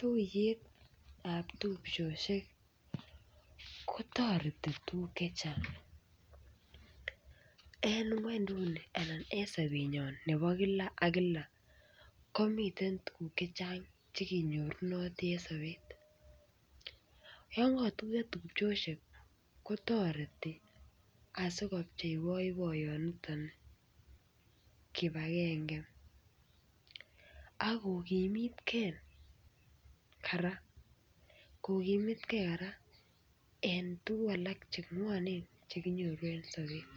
Tuiyetab tupchoshek kotoreti tuguk chechang en ngwenynduni anan en sopenyon nepo kila ak kila komiten tuguk chechang chekenyorunoti en sopet yonko Tuyo tupchoshek kotoreti asikopchei boiboinitok kipagenge Ako kimit Kee kora kokimitkee kora en tugu chengwonen chekinyoru en sobet